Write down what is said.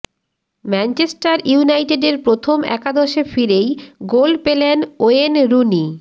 Manchester ইউনাইটেডের প্রথম একাদশে ফিরেই গোল পেলেন ওয়েন রুনি